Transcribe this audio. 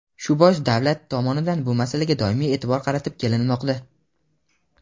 Shu bois davlat tomonidan bu masalaga doimiy e’tibor qaratib kelinmoqda.